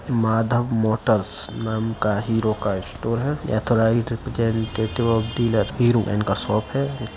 Madhav motors नाम का Hero का स्टोर है। ऑथोराइज़्ड ऑफ डीलर इनका का शॉप है।